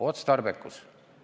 Otstarbekus!